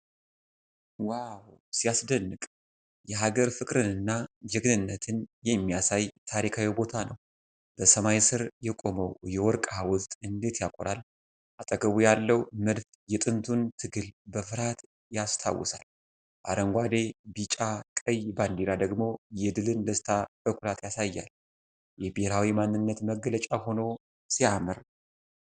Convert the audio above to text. ዋው! ሲያስደንቅ! የሀገር ፍቅርንና ጀግንነትን የሚያሳይ ታሪካዊ ቦታ ነው። በሰማይ ስር የቆመው የወርቅ ሐውልት እንዴት ያኮራል! አጠገቡ ያለው መድፍ የጥንቱን ትግል በፍርሃት ያስታውሳል፣ አረንጓዴ፣ ቢጫ፣ ቀይ ባንዲራ ደግሞ የድልን ደስታ በኩራት ያሳያል። የብሔራዊ ማንነት መገለጫ ሆኖ ሲያምር!